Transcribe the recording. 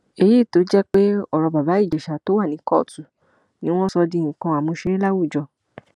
èyí tó jẹ pé ọrọ bàbá ìjèṣà tó wà ní kóòtù ni wọn sọ di nǹkan àmúṣeré láwùjọ